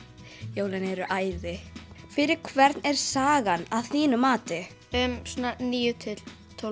jólin eru æði fyrir hvern er sagan að þínu mati svona níu til tólf